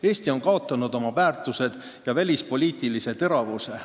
Eesti on kaotanud oma väärtused ja välispoliitilise teravuse.